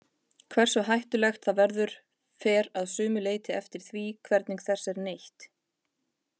Hversu hættulegt það verður fer að sumu leyti eftir því hvernig þess er neytt.